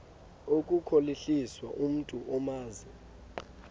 ukukhohlisa umntu omazi